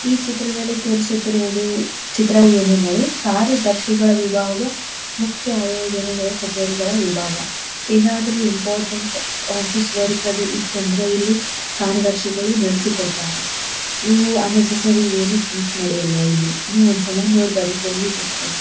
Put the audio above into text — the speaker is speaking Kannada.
ಈ ಚಿತ್ರದಲ್ಲಿ ತೋರಿಸುತ್ತಿರುವುದು ಚಿತ್ರವೂ ಏನೆಂದರೆ ಕಾರ್ ದರ್ಶಿಗಳ ವಿಭಾಗ ಮುಖ್ಯ ಆಯೋಜನೆಗಳ ಕಚೇರಿಗಳ ವಿಭಾಗ. ಏನಾದರೂ ಇಂಪೋರ್ಟೆನ್ಟ್ ಆಫೀಸ್ ವರ್ಕ್ ಅದು ಇತ್ತೆಂದರೆ ಇಲ್ಲಿ ಕಾರ್ಯದರ್ಶಿಗಳು ನಡೆಸಿ ಕೊಡ್ತಾರಾ ಇವು ಅನ್ ನೆಸೆಸ್ಸೋರಿ ಏನು ಥಿಂಗ್ಸ್ ನಡೆಯಲ್ಲ ಇಲ್ಲಿ ನೀವು ಒಂದಸಲ ನೋಡ್ ಬರ್ರಿ ಹೋಗಿ ಗೊತ್ತಾಗು--